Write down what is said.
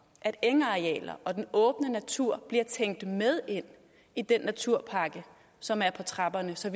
at engarealer og den åbne natur bliver tænkt med ind i den naturpakke som er på trapperne så